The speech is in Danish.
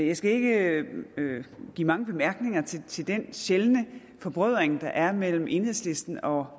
jeg skal ikke give mange bemærkninger til til den sjældne forbrødring der er mellem enhedslisten og